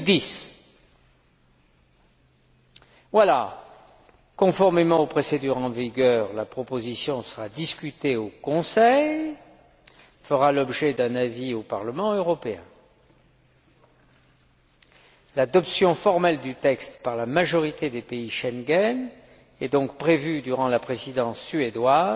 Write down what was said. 2010. Conformément aux procédures en vigueur, la proposition sera discutée au Conseil et fera l'objet d'un avis au Parlement européen. L'adoption formelle du texte par la majorité des pays Schengen est donc prévue durant la Présidence suédoise,